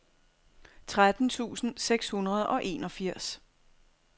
tretten tusind seks hundrede og enogfirs